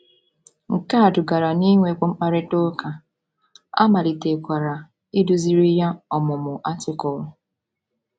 Nke a dugara n’inwekwu mkparịta ụka, a malitekwara iduziri ya ọmụmụ Artịkụlụ.